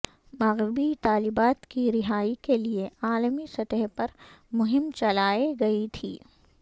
مغوی طالبات کی رہائی کے لیے عالمی سطح پر مہم چلائی گئی تھی